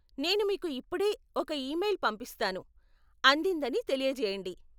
నేను మీకు ఇప్పుడే ఒక ఈమెయిల్ పంపిస్తాను, అందిందని తెలియజేయండి.